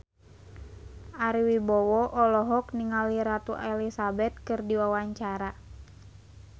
Ari Wibowo olohok ningali Ratu Elizabeth keur diwawancara